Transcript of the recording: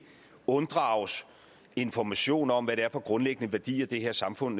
unddrages information om hvad det er for grundlæggende værdier det her samfund